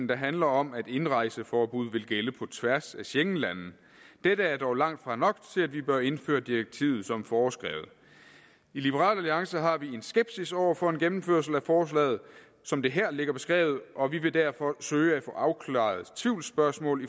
der handler om at indrejseforbuddet vil gælde på tværs af schengenlande dette er dog langt fra nok til at vi bør indføre direktivet som foreskrevet i liberal alliance har vi en skepsis over for en gennemførelse af forslaget som det her ligger beskrevet og vi vil derfor søge at få afklaret tvivlsspørgsmål